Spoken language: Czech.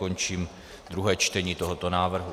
Končím druhé čtení tohoto návrhu.